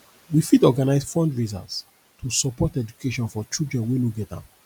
we fit organize fundraisers to support education for children wey no get am